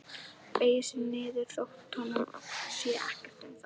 Beygir sig niður þótt honum sé ekkert um það.